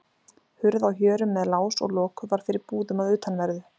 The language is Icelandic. Hurð á hjörum með lás og loku var fyrir búðum að utanverðu.